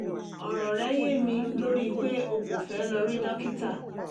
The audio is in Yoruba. ọ̀rọ̀ rẹ́ yé mi lórí pé o kò fẹ́ lọ rí dókítà